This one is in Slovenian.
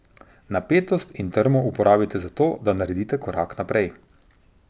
Napetost in trmo uporabite za to, da naredite korak naprej.